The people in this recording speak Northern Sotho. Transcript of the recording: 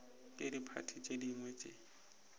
ke diphathi tše dingwe tše